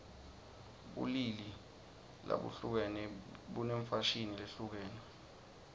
bulili labuhlukene bunemfashini lehlukene